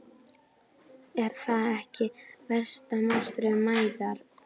Er það ekki versta martröð mæðra?